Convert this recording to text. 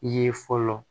Ye fɔlɔ